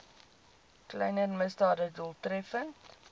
kleiner misdade doeltreffend